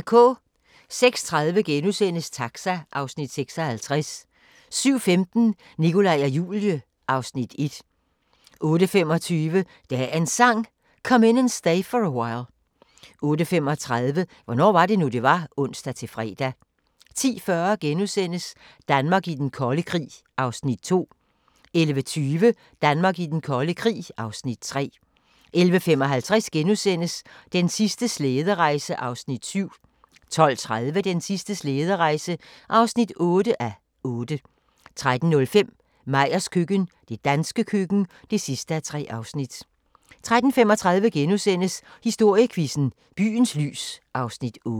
06:30: Taxa (Afs. 56)* 07:15: Nikolaj og Julie (Afs. 1) 08:25: Dagens Sang: Come In And Stay For A While 08:35: Hvornår var det nu, det var? (ons-fre) 10:40: Danmark i den kolde krig (Afs. 2)* 11:20: Danmark i den kolde krig (Afs. 3) 11:55: Den sidste slæderejse (7:8)* 12:30: Den sidste slæderejse (8:8) 13:05: Meyers køkken – det danske køkken (3:3) 13:35: Historiequizzen: Byens lys (Afs. 8)*